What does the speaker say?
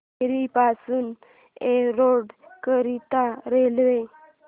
केंगेरी पासून एरोड करीता रेल्वे